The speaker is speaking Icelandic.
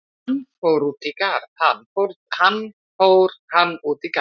Hann: Fór hann út í garð?